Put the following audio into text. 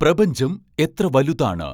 പ്രപഞ്ചം എത്ര വലുതാണ്